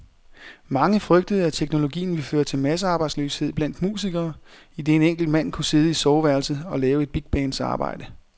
Mange frygtede, at teknologien ville føre til massearbejdsløshed blandt musikere, idet en enkelt mand kunne sidde i soveværelset og lave et bigbands arbejde.